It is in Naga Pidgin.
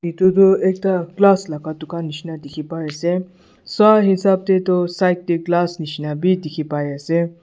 itutu ekta class laga dukan nishina dikhi pai ase sai hesap tey tu side tey glass nishina bi dikhi pai ase.